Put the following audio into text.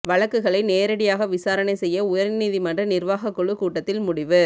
வழக்குகளை நேரடியாக விசாரணை செய்ய உயர்நீதிமன்ற நிர்வாகக் குழுக் கூட்டத்தில் முடிவு